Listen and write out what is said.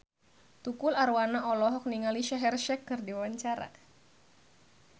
Tukul Arwana olohok ningali Shaheer Sheikh keur diwawancara